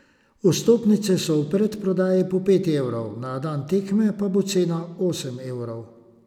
Vstopnice so v predprodaji po pet evrov, na dan tekme bo cena osem evrov.